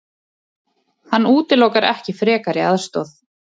Hann útilokar ekki frekari aðstoð.